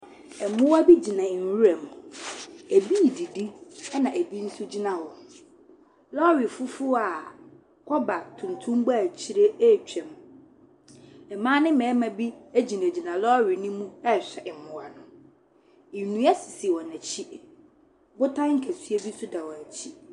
Ɛmua bi gyina enwuram, ebi didi ɛna ebi so gyina hɔ. Lɔri fufuo a kɔba tuntum bɔ ekyire etwam. Mmaa ne mɛrimma bi egyinagyina lɔri no mu ɛɛhwɛ ɛɛmua no. Ndua sisi wɔn ekyi, botan kɛseɛ bi nso da wɔn ekyi.